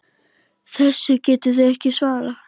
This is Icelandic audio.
Þessu getið þið ekki svarað!